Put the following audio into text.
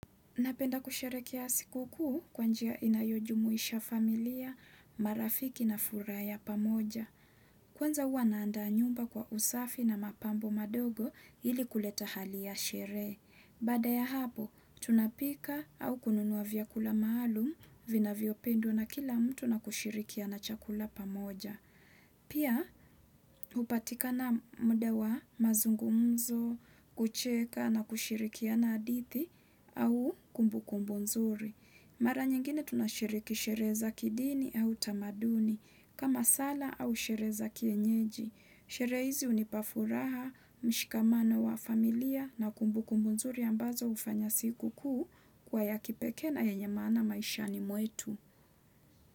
Napenda kusherekea sikukuu kwa njia inayojumuisha familia, marafiki na furaa ya pamoja. Kwanza huwa naandaa nyumba kwa usafi na mapambo madogo ili kuleta hali ya sheree. Baada ya hapo, tunapika au kununua vyakula maalum vinavyopendwa na kila mtu na kushirikiana chakula pamoja. Pia, hupatikana mda wa mazungumzo, kucheka na kushirikiana adithi au kumbukumbu nzuri. Mara nyingine tunashiriki sheree za kidini au tamaduni, kama sala au sheree za kienyeji. Sheree hizi hunipa furaha, mshikamano wa familia na kumbukumbu nzuri ambazo hufanya sikukuu kuwa ya kipekee na yenye maana maishani mwetu.